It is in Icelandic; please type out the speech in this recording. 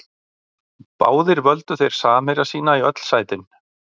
Báðir völdu þeir samherja sína í öll sætin.